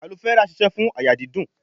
Aloe vera sise fún àyà dídùn.